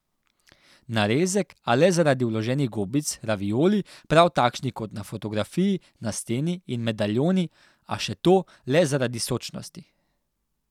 Narezek, a le zaradi vloženih gobic, ravioli, prav takšni kot na fotografiji na steni, in medaljoni, a še to le zaradi sočnosti!